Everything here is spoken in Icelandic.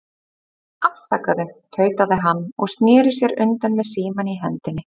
Afsakaðu, tautaði hann og sneri sér undan með símann í hendinni.